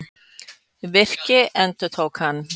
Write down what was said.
Virki, endurtók hann.